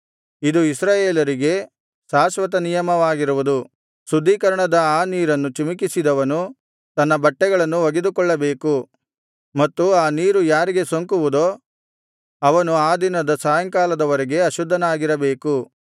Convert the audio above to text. ಇದು ಇಸ್ರಾಯೇಲರಿಗೆ ಶಾಶ್ವತ ನಿಯಮವಾಗಿರುವುದು ಶುದ್ಧೀಕರಣದ ಆ ನೀರನ್ನು ಚಿಮಿಕಿಸಿದವನು ತನ್ನ ಬಟ್ಟೆಗಳನ್ನು ಒಗೆದುಕೊಳ್ಳಬೇಕು ಮತ್ತು ಆ ನೀರು ಯಾರಿಗೆ ಸೋಂಕುವುದೋ ಅವನು ಆ ದಿನದ ಸಾಯಂಕಾಲದವರೆಗೆ ಅಶುದ್ಧನಾಗಿರಬೇಕು